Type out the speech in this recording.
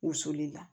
Wusuli la